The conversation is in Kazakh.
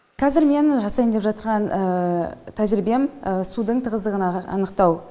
қазір менің жасайын деп жатырған тәжірибем судың тығыздығын анықтау